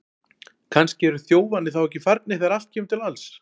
Kannski eru þjófarnir þá ekki farnir þegar allt kemur til alls!